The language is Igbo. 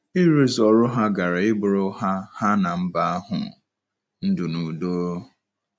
Ịrụzu ọrụ ha gaara ịbụrụ ha ha na mba ahụ ndụ na udo.